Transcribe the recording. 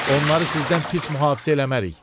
onları sizdən pis mühafizə eləmərik.